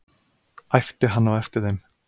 æpti hann á eftir þeim.